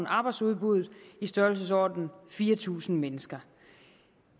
arbejdsudbuddet i størrelsesordenen fire tusind mennesker